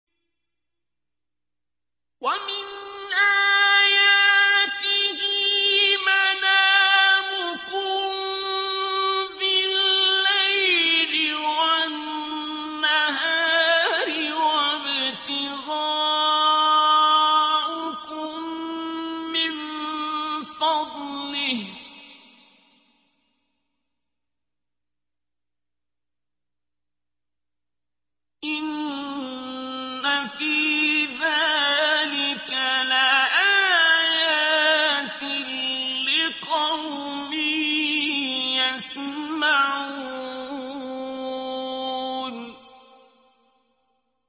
وَمِنْ آيَاتِهِ مَنَامُكُم بِاللَّيْلِ وَالنَّهَارِ وَابْتِغَاؤُكُم مِّن فَضْلِهِ ۚ إِنَّ فِي ذَٰلِكَ لَآيَاتٍ لِّقَوْمٍ يَسْمَعُونَ